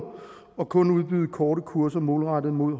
og kun udbyde korte kurser målrettet mod